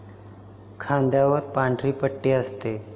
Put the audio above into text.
खांद्यावर पांढरी पट्टी असते